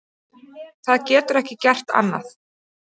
Það getur ekki gert annað.